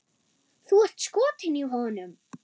Þú ert skotin í honum!